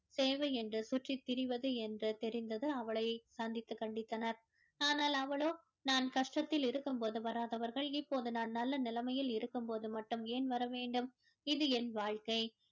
சேவை என்று சுற்றித் திரிவது என்று தெரிந்தது அவளை சந்தித்து கண்டித்தனர் ஆனால் அவளோ நான் கஷ்டத்தில் இருக்கும் போது வராதவர்கள் இப்போது நான் நல்ல நிலைமையில் இருக்கும் போது மட்டும் ஏன் வர வேண்டும் இது என் வாழ்க்கை